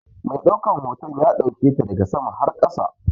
Mai ɗaukan hoton ya ɗauketa daga sama har ƙasa.